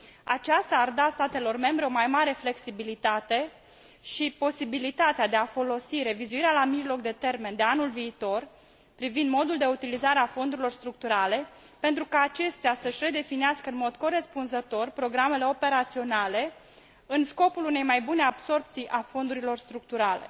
Aceasta ar da statelor membre o mai mare flexibilitate și posibilitatea de a folosi revizuirea la mijloc de termen de anul viitor privind modul de utilizare a fondurilor structurale pentru ca acestea să își redefinească în mod corespunzător programele operaționale în scopul unei mai bune absorbții a fondurilor structurale.